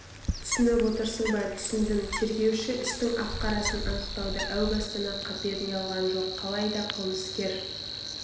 түсініп отырсың ба түсіндім тергеуші істің ақ-қарасын анықтауды әу бастан-ақ қаперіне алған жоқ қалайда қылмыскер